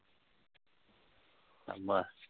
শাবাশ